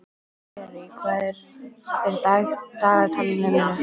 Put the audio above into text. Sirrý, hvað er í dagatalinu mínu í dag?